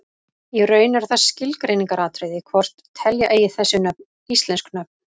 Í raun er það skilgreiningaratriði hvort telja eigi þessi nöfn íslensk nöfn.